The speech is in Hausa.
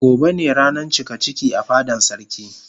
Gobe ne ranan cikaciki a fadan sarki.